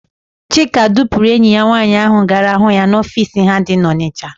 Chika dupuru enyi ya nwaanyị gara hụ ya n'ofiisi ha dị n'Ọnịsha.